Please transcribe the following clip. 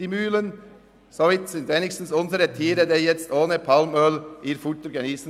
Somit können wenigstens unsere Tiere ihr Futter ohne Palmöl geniessen.